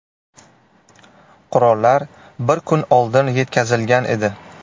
Qurollar bir kun oldin yetkazilgan edi.